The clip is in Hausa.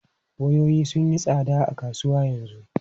Wayoyi sun yi tsada a kasuwa yanzu.